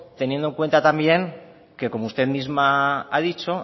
teniendo en cuenta que como usted misma ha dicho